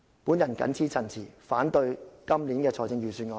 我謹此陳辭，反對本年度的預算案。